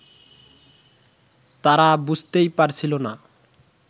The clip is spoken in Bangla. তারা বুঝতেই পারছিল না